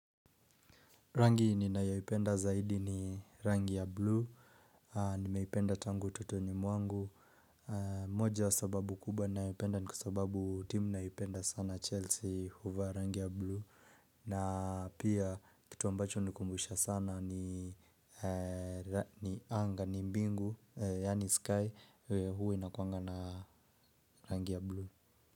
Rangi ninayaipenda zaidi ni rangi ya blue Nimeipenda tangu utotoni mwangu moja sababu kubwa naipenda ni kwa sababu timu naipenda sana Chelsea huvaa rangi ya blue na pia kitu ambacho nikumbusha sana ni anga, ni mbingu yaani sky huwe inakuwanga na rangi ya blue.